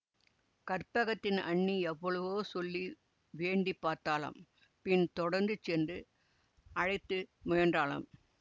கற்பகத்தின் அண்ணி எவ்வளவோ சொல்லி வேண்டிப்பார்த்தாளாம் பின் தொடர்ந்து சென்று அழைத்து முயன்றாளாம்